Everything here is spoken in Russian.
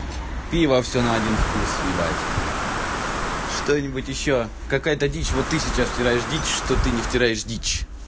пиво все на один вкус ебать что-нибудь что-нибудь ещё какая-то дичь вот ты сейчас втираешь дичь что ты не втираешь дичь